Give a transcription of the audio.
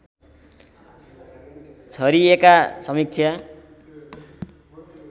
छरिएका समीक्षा